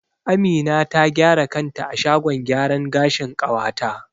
Amina ta gyara kanta a shagon gyaran gashin ƙawata.